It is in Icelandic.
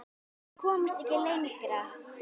Við komumst ekki lengra.